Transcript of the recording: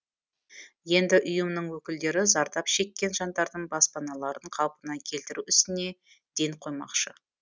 енді ұйымның өкілдері зардап шеккен жандардың баспаналарын қалпына келтіру ісіне ден қоймақшы